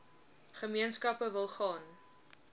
gemeenskappe wil gaan